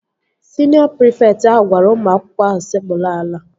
Siniọ prịfekt ahụ gwara ụmụ akwụkwọ ahụ sekpuru ala